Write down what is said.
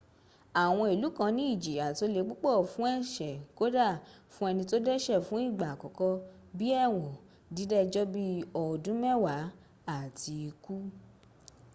awon ilu kan ni ijiya to le pupo fun ese koda fun eni to dese fun igba akoko bi ewon dida ejo bi odun mewa abi iku